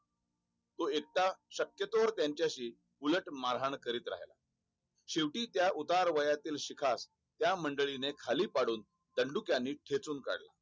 एकता शक्यतो त्यांच्या शी उलट मारहाण करीत राहिला शेवटी त्या उतारवयातील शीखा खास त्या मंडळी ने खाली पाडून त्या दनडू का ठेचून काढला